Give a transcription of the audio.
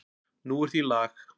Nú er því lag.